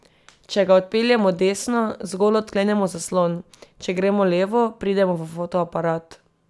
Če ga odpeljemo desno, zgolj odklenemo zaslon, če gremo levo, pridemo v fotoaparat.